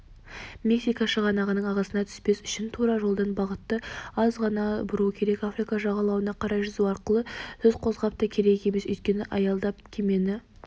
мексика шығанағының ағысына түспес үшін тура жолдан бағытты аз ғана бұру керек африка жағалауына қарай жүзу туралы сөз қозғап та керек емес өйткені аялдап кемені